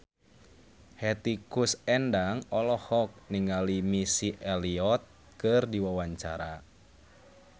Hetty Koes Endang olohok ningali Missy Elliott keur diwawancara